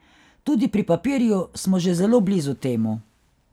Tudi pri papirju smo že zelo blizu temu.